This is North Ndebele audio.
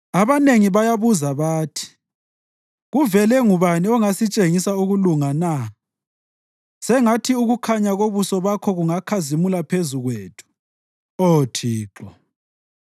Abanengi bayabuza bathi, “Kuvele ngubani ongasitshengisa ukulunga na?” Sengathi ukukhanya kobuso bakho kungakhazimula phezu kwethu, Oh Thixo.